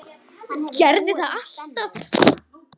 Gerði það alltaf.